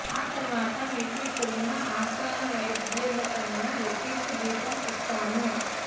ఆ తరువాత మీకు ఇక్కడున్న ఆస్థాన వైద్యులకన్నా రెట్టింపు జీతం ఇస్తాము